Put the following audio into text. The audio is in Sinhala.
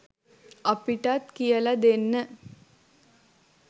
අපිටත් කියලා දෙන්න